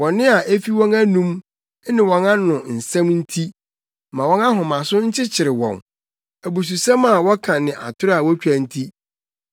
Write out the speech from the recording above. Bɔne a efi wɔn anom, ne wɔn ano nsɛm nti ma wɔn ahomaso nkyekyere wɔn. Abususɛm a wɔka ne atoro a wotwa nti,